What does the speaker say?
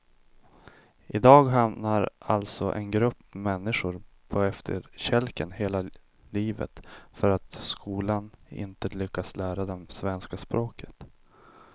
I dag hamnar alltså en grupp människor på efterkälken hela livet för att skolan inte lyckats lära dem svenska språket.